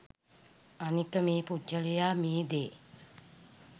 අනික මේ පුද්ගලයා මේ දේ